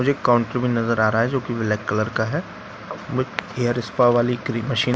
मुझे एक काउंटर भी नजर आ रहा हैं जो की ब्लैक कलर का हैं हेयर स्पा वाली क्रीम मशीन --